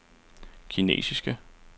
kinesiske